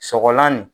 Sɔgɔlan nin